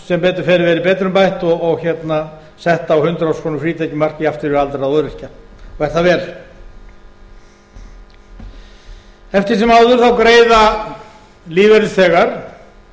sem betur fer verið betrumbætt og sett á hundrað þúsund króna frítekjumark jafnt fyrir aldraða og öryrkja og er það vel eftir sem áður þá greiða lífeyrisþegar